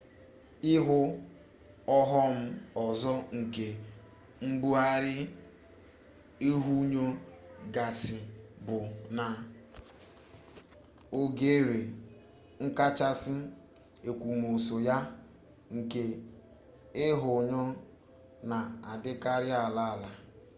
ihe ọghọm ọzọ nke mbugharị ihunyo gasị bụ na oghere nkachasị èkwòmọsọ ya nke ihunyo na-adịkarị ala ala